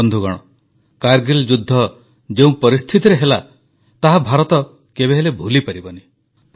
ବନ୍ଧୁଗଣ କାରଗିଲ ଯୁଦ୍ଧ ଯେଉଁ ପରିସ୍ଥିତିରେ ହେଲା ତାହା ଭାରତ କେବେହେଲେ ଭୁଲିପାରିବନି